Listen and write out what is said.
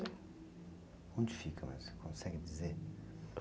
Onde fica lá, você consegue dizer?